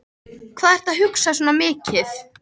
Hvað ertu að hugsa svona mikið?